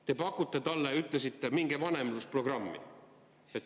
Te pakute talle, nagu te ütlesite, mingit vanemlusprogrammi.